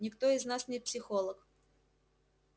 никто из нас не психолог